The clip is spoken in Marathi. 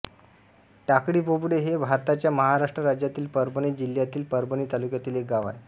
टाकळीबोबडे हे भारताच्या महाराष्ट्र राज्यातील परभणी जिल्ह्यातील परभणी तालुक्यातील एक गाव आहे